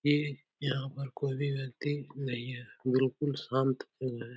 ये यहाँ पर कोई भी व्यक्ति नहीं है गुरुकुल शांत बोल रहा हैं।